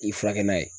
I furakɛ na